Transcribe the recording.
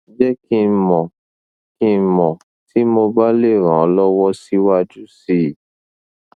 je ki n mo ki n mo ti mo ba le ran o lowo siwaju si i